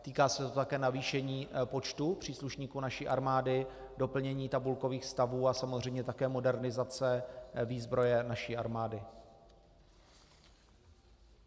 Týká se to také navýšení počtu příslušníků naší armády, doplnění tabulkových stavů a samozřejmě také modernizace výzbroje naší armády.